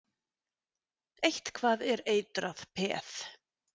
Eitthvað er eitrað peð